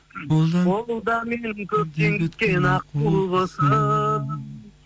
ол да менің көптен күткен аққу құсым